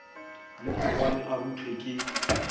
le mogwane a ruthwe ke